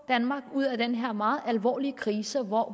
danmark ud af den her meget alvorlige krise hvor